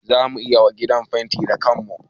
Za mu yi wa gidan fenti da kanmu